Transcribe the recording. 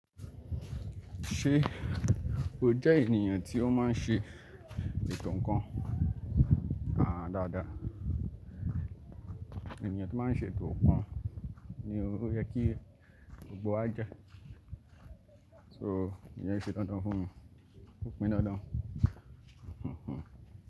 Ṣé o jẹ́ ènìyàn tí ó máa ń ṣe ètò nkan? Dáadáa Ẹ̀níyàn tí máa ń ṣe ètò kan ni ó yẹ kí ó gbo àjà. So ìyen se dandan fún mi. Ó pan dandan.